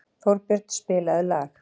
Þórbjörn, spilaðu lag.